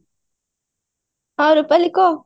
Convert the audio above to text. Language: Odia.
ହଁ ରୂପାଲି କହ